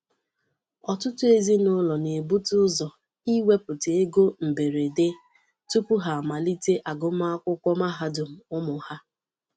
Ọtụtụ ezinụlọ na-ebute ụzọ iwepụta ego mberede tupu ha amalite agụmakwụkwọ mahadum ụmụ ha.